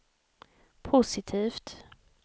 positivt